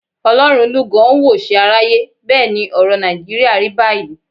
Ọlọ́run lúgọ ó ń wòṣe aráyé. Bẹ́ẹ̀ ni ọ̀rọ̀ Nàìjíríà rí báyìí.